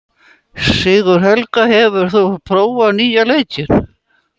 Sigurhelga, hefur þú prófað nýja leikinn?